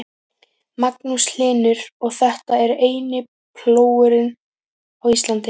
Magnús Hlynur: Og þetta er eini plógurinn á Íslandi?